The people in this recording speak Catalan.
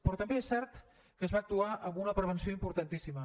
però també és cert que es va actuar amb una prevenció importantíssima